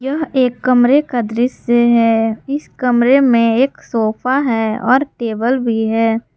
यह एक कमरे का दृश्य है इस कमरे में एक सोफा है और टेबल भी है।